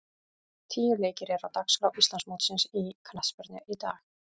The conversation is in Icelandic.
Tíu leikir eru á dagskrá Íslandsmótsins í knattspyrnu í dag.